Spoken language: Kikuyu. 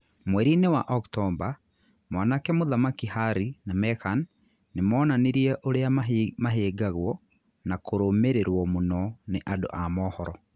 Mweriinĩ wa Oktomba, Mwanake Mũthamaki Harry na Meghan nĩ moonanirie urĩa mahĩngagwo na kũrũmĩrĩrwo mũno ni andu a mohoro